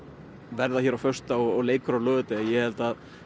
verða hér á föstudag og leikur á laugardag ég held að